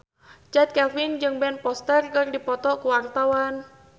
Chand Kelvin jeung Ben Foster keur dipoto ku wartawan